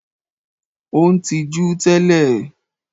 Ó ń tijú tẹ́lẹ̀.